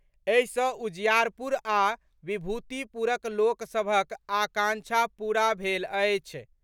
एहि सँ उजियारपुर आ विभूतिपुरक लोक सभक आकांक्षा पूरा भेल अछि।